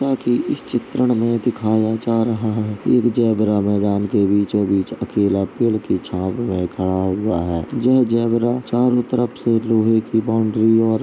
न् की इस चित्रण में दिखाया जा रहा है एक ज़ेबरा मैदान के बीचो-बीच अकेला पेड़ की छाँव में खड़ा हुआ है। जह ज़ेबरा चारो तरफ से लोहे की बाउंड्री और --